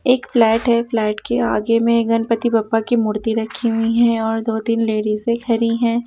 एक फ्लैट है फ्लैट के आगे में गणपति बप्पा की मूर्ति रखी हुई है और दो तीन लेडीसे खड़ी हैं।